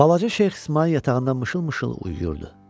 Balaca Şeyx İsmayıl yatağında mışıl-mışıl uyuyurdu.